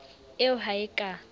eo ha e a ka